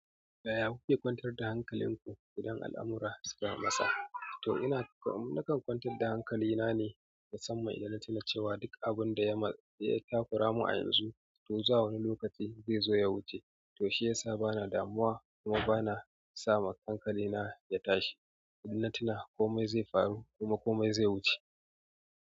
Yaya kuke kwantar da hankalinku idan al'amura suka matsa? Toh ina nakan kwantar da hankalina ne musamman idan na tuna cewa duk abunda ya takura min ayanzu to zuwa wani lokaci zai zo ya wuce toh shiyasa bana damuwa kuma bana sama hankalina ya tashi ina tuna komai zai faru kuma komai zai wuce.